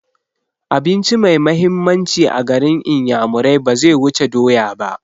Abinci mai mahimmanci a garin inyamurai baze wuce doya ba